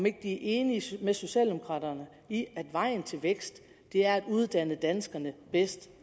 ikke er enige med socialdemokraterne i at vejen til vækst er at uddanne danskerne bedst